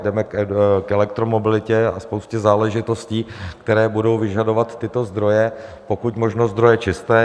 Jdeme k elektromobilitě a spoustě záležitostí, které budou vyžadovat tyto zdroje, pokud možno zdroje čisté.